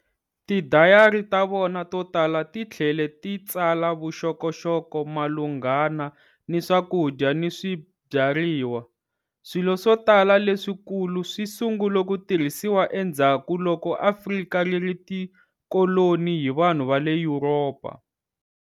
Tidayari ta vona to tala ti tlhele ti tsala vuxokoxoko malunghana ni swakudya ni swibyariwa. Swilo swo tala leswikulu swi sungule ku tirhisiwa endzhaku loko Afrika ri ri tikoloni hi vanhu va le Yuropa.